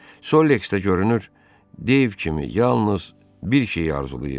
Solleks də görünür, Dave kimi yalnız bir şeyi arzulayırdı.